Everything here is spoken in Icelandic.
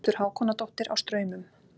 Hildur Hákonardóttir á Straumum